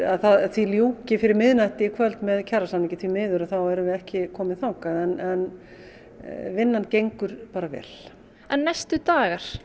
því ljúki fyrir miðnætti í kvöld með kjarasamningi því miður erum við ekki komin þangað en vinnan gengur bara vel en næstu dagar